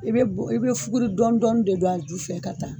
I be fuguri dɔɔni dɔɔni de don a ju fɛ ka taa